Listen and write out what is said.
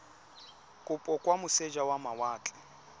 kopo kwa moseja wa mawatle